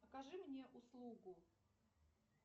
окажи мне услугу